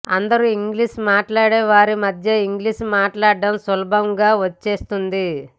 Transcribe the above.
అందరూ ఇంగ్లీషు మాట్లాడే వారి మధ్య ఇంగ్లీషు మాట్లాడడం సులభంగా వచ్చేస్తుంది